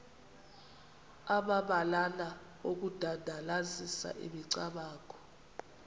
amabalana okudandalazisa imicamango